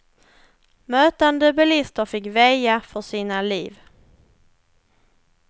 Mötande bilister fick väja för sina liv.